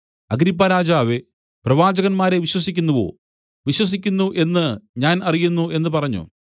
അഗ്രിപ്പാരാജാവേ പ്രവാചകന്മാരെ വിശ്വസിക്കുന്നുവോ വിശ്വസിക്കുന്നു എന്ന് ഞാൻ അറിയുന്നു എന്നു പറഞ്ഞു